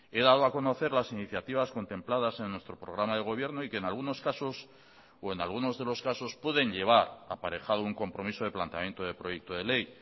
he dado a conocer las iniciativas contempladas en nuestro programa de gobierno y que en algunos casos o en algunos de los casos pueden llevar aparejado un compromiso de planteamiento de proyecto de ley